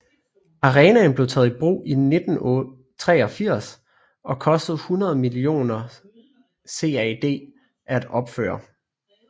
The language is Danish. Arenaen blev taget i brug i 1983 og kostede 100 millioner CAD at opføre